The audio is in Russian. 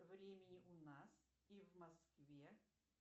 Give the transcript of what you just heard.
времени у нас и в москве